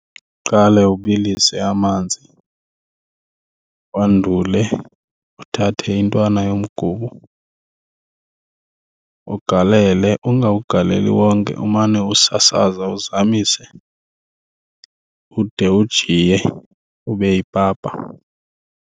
Uqale ubilise amanzi wandule uthathe intwana yomgubo ugalele. Ungawugaleli wonke, umane usasaza uzamise ude ujiye ube yipapa.